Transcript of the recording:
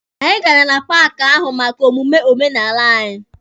Anyị gara na paaki ahụ maka omume omenala anyị.